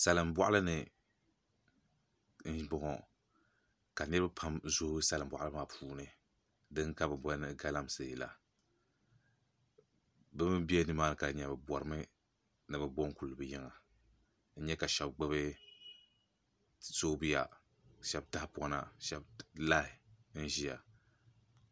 Salin boɣali ni n boŋo ka niraba pam zooi salin boɣali maa puuni din ka bi booni galamsee la bi mii bɛ nimaani ka di nyɛla bi borimi ni bi bo n kuli bi yiŋa n nyɛ ka shab gbubi soobuya shab tahapona shab lahi n ʒiya